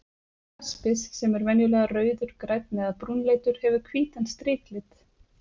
Jaspis, sem venjulega er rauður, grænn eða brúnleitur, hefur hvítan striklit.